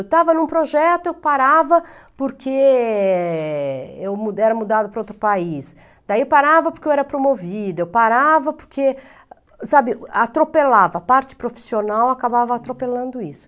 Eu estava em um projeto, eu parava porque eu mu era mudada para outro país, daí parava porque eu era promovida, eu parava porque, sabe, atropelava, a parte profissional acabava atropelando isso.